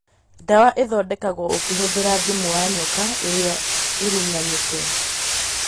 Ndawa ĩthondekagwo ũkũhũthĩra thumu wa nyoka ĩrĩa ĩrũnanĩte